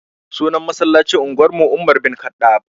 Sunan masallacin unguwar mu umar bin kaɗab